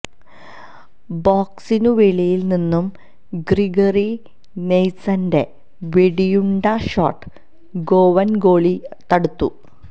ബോക്സിനു വെളിയില് നിന്നും ഗ്രിഗറി നെല്സന്റെ വെടിയുണ്ട ഷോട്ട് ഗോവന് ഗോളി തടുത്തു